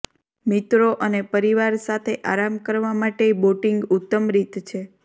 મિત્રો અને પરિવાર સાથે આરામ કરવા માટે બોટિંગ ઉત્તમ રીત છે